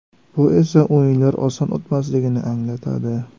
Bu esa o‘yinlar oson o‘tmasligini anglatadi.